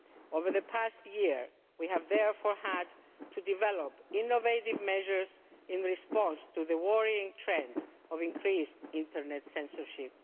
some. Over the past year, we have therefore had to develop innovative measures in response to the worrying trend of increased internet censorship.